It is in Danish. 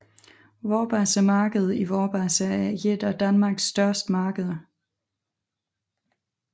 Vorbasse Marked i Vorbasse er et af Danmarks største markeder